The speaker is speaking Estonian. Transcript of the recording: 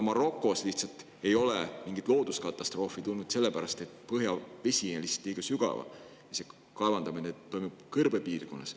Marokos ei ole mingit looduskatastroofi juhtunud võib-olla lihtsalt sellepärast, et põhjavesi on väga sügaval, kaevandatakse kõrbepiirkonnas.